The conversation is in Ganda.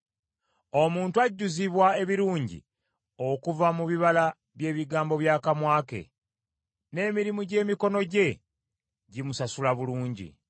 Omuntu ajjuzibwa ebirungi okuva mu bibala bye bigambo by’akamwa ke, n’emirimu gy’emikono gye gimusasula bulungi.